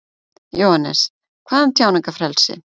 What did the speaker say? Jóhannes: Hvað um tjáningarfrelsi?